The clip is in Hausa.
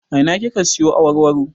A ina kika siyo awarwaro?